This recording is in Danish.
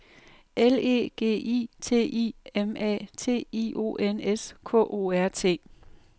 L E G I T I M A T I O N S K O R T